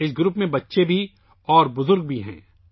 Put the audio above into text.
اس group میں بچے بھی ہیں اور بوڑھے بھی